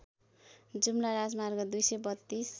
जुम्ला राजमार्ग २३२